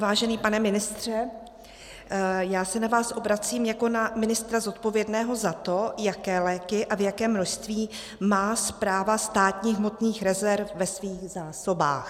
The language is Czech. Vážený pane ministře, já se na vás obracím jako na ministra zodpovědného za to, jaké léky a v jakém množství má Správa státních hmotných rezerv ve svých zásobách.